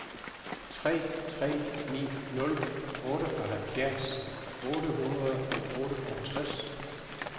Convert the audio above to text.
tre tre ni nul otteoghalvfjerds otte hundrede og otteogtres